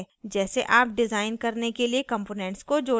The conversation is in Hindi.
जैसे आप डिजाइन करने के लिए components को जोड़ेंगे